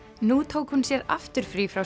nú tók hún sér aftur frí frá